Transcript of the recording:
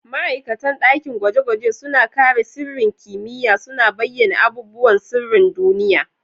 Ma'aikatan dakin gwaje-gwaje suna kare sirrin kimiyya, suna bayyana abubuwan sirrin duniya.